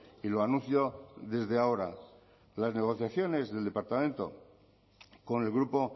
y lo anuncio desde ahora las negociaciones del departamento con el grupo